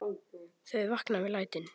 Þau vakna við lætin.